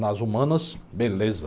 Nas humanas, beleza.